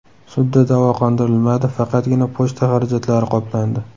Sudda da’vo qondirilmadi, faqatgina pochta xarajatlari qoplandi.